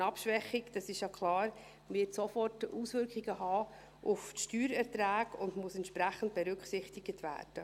Eine Abschwächung, das ist ja klar, wird sofort Auswirkungen auf die Steuererträge haben und muss entsprechend berücksichtigt werden.